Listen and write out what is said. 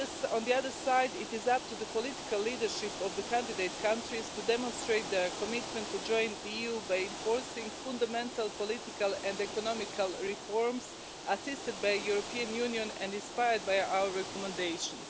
On the other side, it is up to the political leadership of the candidate countries to demonstrate their commitment to join the EU by enforcing fundamental political and economic reforms, assisted by the European Union and inspired by our recommendations.